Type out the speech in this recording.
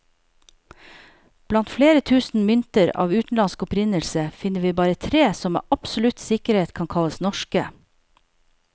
Blant flere tusen mynter av utenlandsk opprinnelse, finner vi bare tre som med absolutt sikkerhet kan kalles norske.